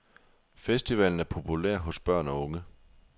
Festivalen er populær hos børn og unge.